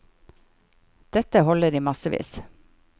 Dette holder i massevis.